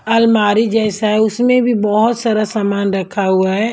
अलमारी जैसा है उसमें भी बहुत सारा सामान रखा हुआ है।